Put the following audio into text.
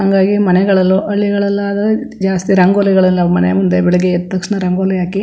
ಹಂಗಾಗಿ ಮನೆಗಳಲ್ಲು ಹಳ್ಳಿಗಳಲಾದ್ರೆ ಜಾಸ್ತಿ ರಂಗೋಲಿಗಳ ಮನೆ ಮುಂದೆ ಬೆಳಗ್ಗೆ ಎದ್ದ ತಕ್ಷಣ ರಂಗೋಲಿ ಹಾಕಿ --